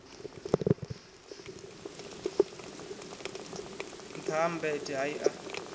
nṱtha ha mmbete hai a